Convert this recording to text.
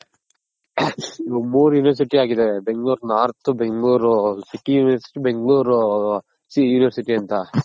ಇವಾಗ್ ಮೂರ್ University ಆಗಿದೆ Bengaluru North Bengaluru city University bangalore university ಅಂತ.